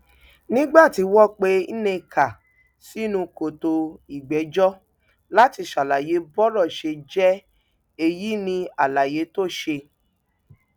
nígbà tí wọn pe nneka sínú kòtò ìgbẹjọ láti ṣàlàyé bọrọ ṣe jẹ èyí ní àlàyé tó ṣe